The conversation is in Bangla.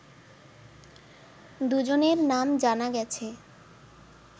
দুজনের নাম জানা গেছে